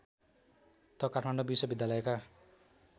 त काठमाडौँ विश्वविद्यालयका